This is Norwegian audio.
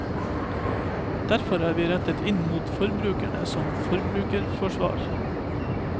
Derfor er vi rettet inn mot forbrukerne som et forbrukerforsvar.